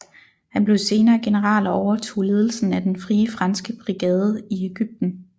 Han blev senere general og overtog ledelsen af den Frie Franske brigade i Ægypten